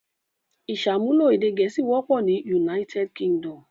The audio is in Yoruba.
Ìṣàmúlò èdè Gẹ̀ẹ́sì wọ́pọ̀ ní United Kingdom.